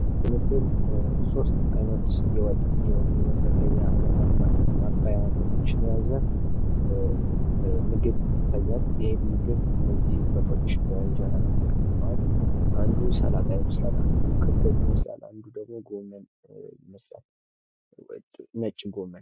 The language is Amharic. በምስሉ ላይ ሶስት አይነት ማባያ ወጥ ያለው ምግብ ይታያል። ማባያወቹ እንጀራ ላይ ተቀምጠዋል ። እነዚህም ማባያወች ጎመን፣ ሰላጣ እና ክክ ወጥ ናቸው ።